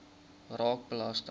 raak belasting